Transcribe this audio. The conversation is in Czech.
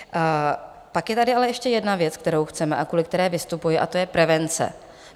Pak je tady ale ještě jedna věc, kterou chceme a kvůli které vystupuji, a to je prevence.